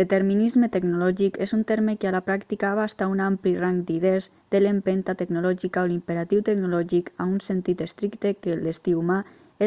determinisme tecnològic és un terme que a la pràctica abasta un ampli rang d'idees de l'empenta tecnològica o l'imperatiu tecnològic a un sentit estricte que el destí humà